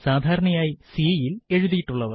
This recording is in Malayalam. സാധാരണയായി C യിൽ എഴുതിയിട്ടുള്ളവ